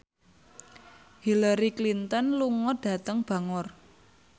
Hillary Clinton lunga dhateng Bangor